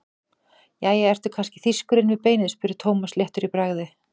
Jæja, ertu kannski þýskur inni við beinið? spurði Thomas léttur í bragði.